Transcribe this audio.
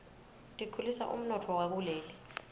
tikhulisa umnotfo wakuleli